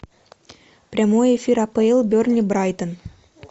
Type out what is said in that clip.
прямой эфир апл бернли брайтон